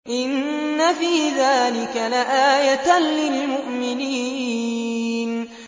إِنَّ فِي ذَٰلِكَ لَآيَةً لِّلْمُؤْمِنِينَ